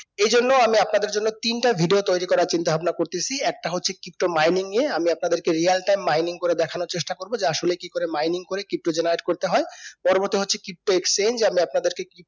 এই জন্য আমি আপনাদের জন্য তিনটা video তৈরী করার চিন্তা ভাবনা করতেসি একটা হচ্ছে pto mining নিয়ে আমি আপনাদের কে real time mining করে দেখানোর চেষ্টা করবো যে আসলে কি করে mining করি pto generate করতে হয় পরবতে হচ্ছে pto exchange আমি আপনাদেরকে